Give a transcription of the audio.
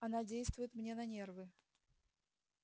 она действует мне на нервы